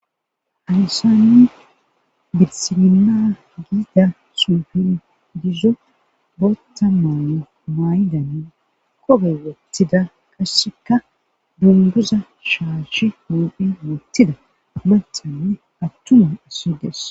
Halisanni birsinma giida sufin dizzo bootta maane maaydanne kobe wottida qasseka dunguza shaashi hoophi muttida manthanne attuma issides.